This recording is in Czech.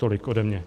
Tolik ode mně.